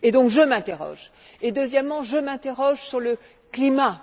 Donc je m'interroge et, deuxièmement, je m'interroge aussi sur le climat.